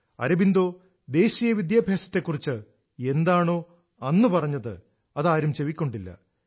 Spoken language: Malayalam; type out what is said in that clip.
അരബിന്ദോ ദേശീയ വിദ്യാഭ്യാസത്തെക്കുറിച് എന്താണോ അന്ന് പറഞ്ഞത് അത് ആരും ചെവിക്കൊണ്ടില്ല